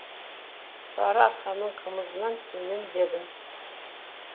сары арқаның қымызынан төмен дедім